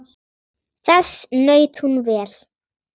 Þess naut hún vel.